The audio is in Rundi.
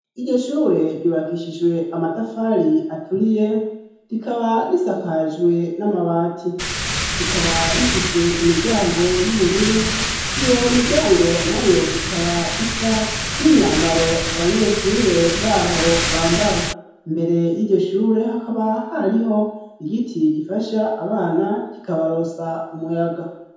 Iryo shure ryubakishijwe amatafari aturiye, rikaba risakajwe n'amabati. Rikaba rifise imiryango y'ubururu, iyo miryango nayo ikaba isa n'imyambaro abanyeshure baho bambara. Imbere y'iryo shure hakaba hariho igiti gifasha abana kikabaronsa umuyaga.